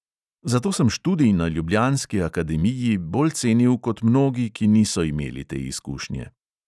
Zato sem študij na ljubljanski akademiji bolj cenil kot mnogi, ki niso imeli te izkušnje.